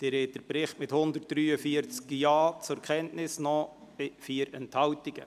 Sie haben diesen Bericht mit 143 Ja-Stimmen zur Kenntnis genommen, bei 4 Enthaltungen.